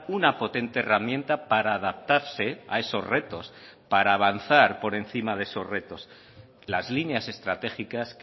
una potente herramienta para adaptarse a esos retos para avanzar por encima de esos retos las líneas estratégicas